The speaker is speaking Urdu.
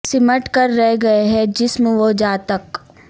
سمٹ کر رہ گئے ہیں جسم و جاں تک